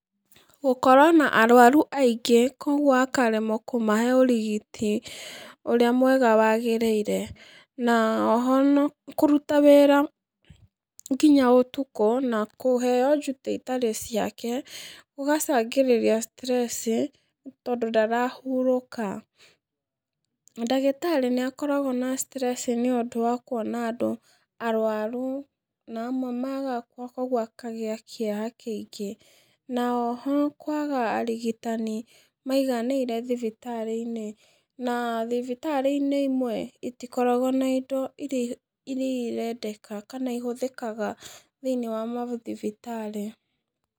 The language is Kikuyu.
Gũkorwo na arwaru aingĩ kũguo akaremwo kũmahe ũrigiti ũrĩa mwega wagĩrĩire, na o ho kũruta wĩra nginya ũtukũ na kũheo duty itarĩ ciake, gũgacangĩria stress tondũ ndarahurũka. Ndagĩtarĩ nĩ akoragwo na stress nĩ ũndũ wa kuona andũ arwaru, na amwe magakua kũguo akagĩa kĩeha kĩingĩ, na o ho kwaga arigitani maiganĩire thibitarĩ-inĩ na thibitarĩ-inĩ imwe itikoragwo na indo iria irendeka kana ihũthĩkaga thĩ-inĩ wa mathibitarĩ.